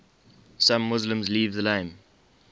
some muslims leave the name